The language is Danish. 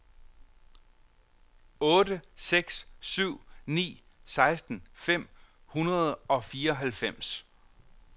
otte seks syv ni seksten fem hundrede og fireoghalvfems